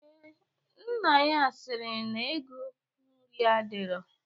Ee, nna ya siri na ego nri adirọ.